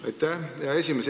Aitäh, hea esimees!